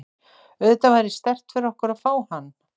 Auðvitað væri sterkt fyrir okkur að fá hann.